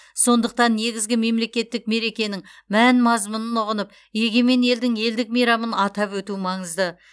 сондықтан негізгі мемлекеттік мерекенінің мән мазмұнын ұғынып егемен елдің елдік мейрамын атап өту маңызды